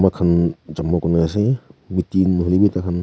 tai khan jama kuri ne ase meeting nahoi le bi tai khan.